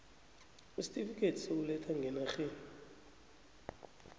isitifikhethi sokuletha ngenarheni